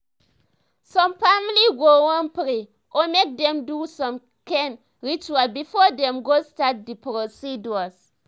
some family go wan pray or mk dem do some kain rituals before dem go start the procedures